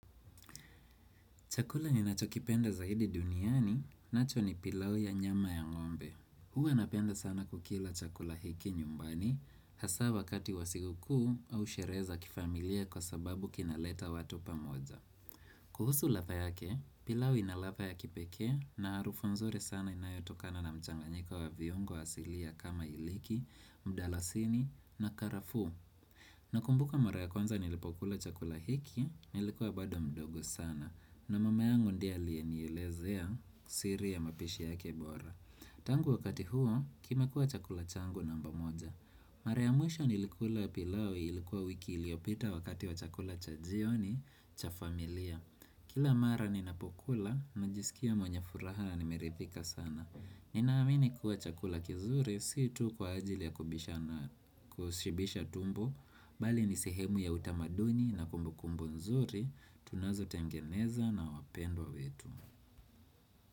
Chakula ninacho kipenda zaidi duniani, nacho ni pilau ya nyama ya ng'ombe. Huwa napenda sana kukila chakula hiki nyumbani, hasa wakati wa sikukuu au sherehe za kifamilia kwa sababu kinaleta watu pamoja. Kuhusu ladha yake, pilau ina ladha ya kipeke na harufu nzuri sana inayotokana na mchanganyika wa viungo asilia kama iliki, mdalasini na karafuu. Na kumbuka mara ya kwanza nilipokula chakula hiki, nilikuwa bado mdogo sana na mama yangu ndiye aliye nielezea siri ya mapishi yake bora Tangu wakati huo, kime kuwa chakula changu namba moja Mara ya mwisho nilikula pilau ilikuwa wiki iliyopita wakati wa chakula cha jioni, cha familia Kila mara ninapokula, najisikia mwenye furaha na nimeridhika sana Ninaamini kuwa chakula kizuri, si tu kwa ajili ya kubishana na kushibisha tumbo Bali nisehemu ya utamaduni na kumbu kumbu nzuri Tunazotengeneza na wapendwa wetu.